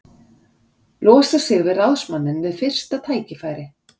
Losa sig við ráðsmanninn við fyrsta tækifæri.